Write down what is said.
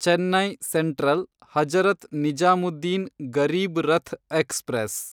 Chennai central Hazrat Nizamuddin Garib Rath express